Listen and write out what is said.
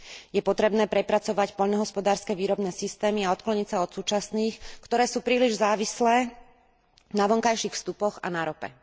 Je potrebné prepracovať poľnohospodárske výrobné systémy a odkloniť sa od súčasných, ktoré sú príliš závislé na vonkajších vstupoch a na rope.